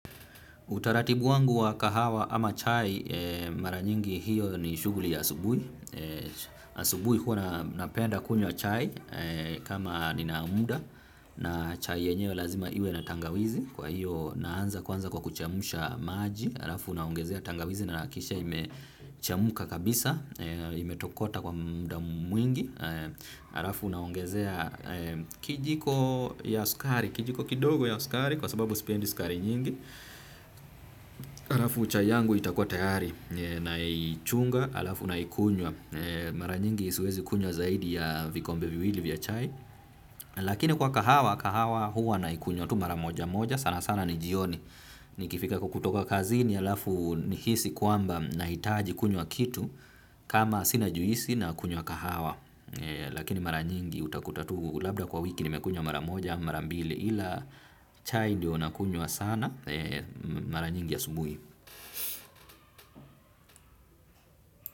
Utaratibu wangu wa kahawa ama chai mara nyingi hiyo ni shughuli ya asubuhi. Asubui hua napenda kunywa chai kama ninamuda na chai yenyewe lazima iwe na tangawizi kwa hiyo naanza kwanza kwa kuchemsha maji. Alafu naongezea tangawizi na nahakikisha imechemka kabisa, imetokota kwa muda mwingi, alafu naongezea kijiko ya sukari, kijiko kidogo ya sukari kwa sababu sipendi sukari nyingi, halafu chai yangu itakuwa tayari, naichunga, halafu naikunywa, mara nyingi siwezi kunywa zaidi ya vikombe viwili vya chai, lakini kwa kahawa, kahawa huwa naikunywa tu mara moja moja sana sana ni jioni. Nikifika kwa kutoka kazini halafu nihisi kwamba nahitaji kunywa kitu. Kama sina juisi nakunywa kahawa. Lakini mara nyingi utakuta tu labda kwa wiki nimekunywa mara moja ama mara mbili. Ila chai ndiyo nakunywa sana mara nyingi asubuhi.